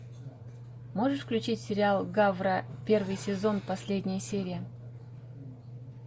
можешь включить сериал гавр первый сезон последняя серия